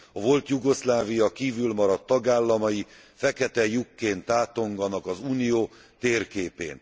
A volt Jugoszlávia kívül maradt tagállamai fekete lyukként tátonganak az Unió térképén.